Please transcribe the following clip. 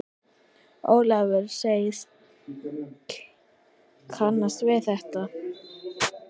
Ólafur segist kannast við þetta.